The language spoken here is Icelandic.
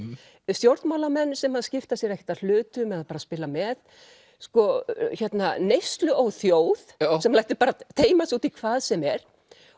stjórnmálamenn sem skipta sér ekkert af hlutum eða bara spila með þjóð sem lætur teyma sig út í hvað sem er